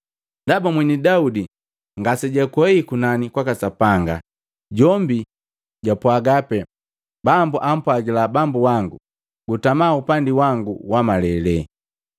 Ndaba mweni Daudi ngase jwakwehi kunani kwaka Sapanga, jombi jwapwaga pee, ‘Bambu ampwagila Bambu wangu, gutama upandi wangu wa malele,